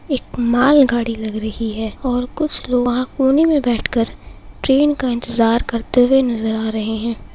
एक मालगाड़ी लग रही है और कुछ लोग वहां कोने में बैठकर ट्रेन का इंतजार करते हुए नज़र आ रहे हैं।